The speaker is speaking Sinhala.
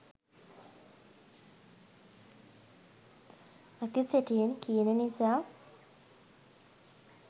ඇති සැටියෙන් කියන නිසා.